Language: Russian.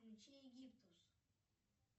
включи египтус